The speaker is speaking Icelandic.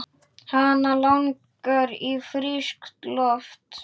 Hana langar í frískt loft.